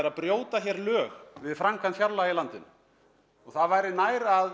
að brjóta lög við framkvæmd fjárlaga í landinu það væri nær að